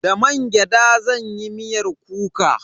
Da mangyada zan yi miyar kuka.